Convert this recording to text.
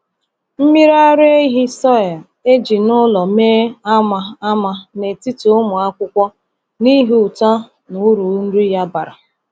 Mmiri araehi soy e ji n’ụlọ mee ama ama n’etiti ụmụ akwụkwọ n’ihi uto na uru nri ya bara.